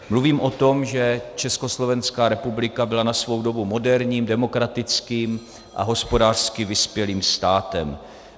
Mluvím o tom, že Československá republika byla na svou dobu moderním, demokratickým a hospodářsky vyspělým státem.